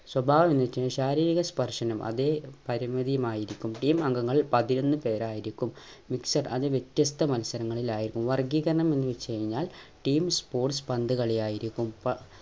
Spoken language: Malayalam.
സ്വഭാവം ശാരീരികസ്പർശനം അതെ പരിമിതിയും ആയിരിക്കും team അംഗങ്ങൾ പതിനൊന്ന് പേരായിരിക്കും mixed അത് വിത്യസ്ത മത്സരങ്ങളിലായായിരുന്നു വർഗീകരണം എന്നുവെച്ച് കഴിഞ്ഞാൽ team sports പന്ത് കളിയായിരിക്കും